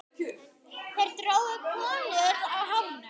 Þeir drógu konur á hárinu.